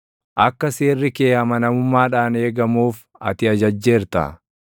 Akka Seerri kee amanamummaadhaan eegamuuf ati ajajjeerta.